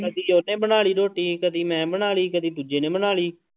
ਕਦੇ ਉਹਨੇ ਬਣਾ ਲਈ ਰੋਟੀ ਕਦੇ ਮੈਂ ਬਣਾ ਲਈ, ਕਦੇ ਦੂਜੇ ਨੇ ਬਣਾ ਲਈ।